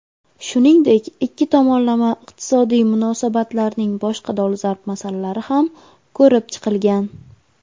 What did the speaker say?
Shuningdek ikki tomonlama iqtisodiy munosabatlarning boshqa dolzarb masalalari ham ko‘rib chiqilgan.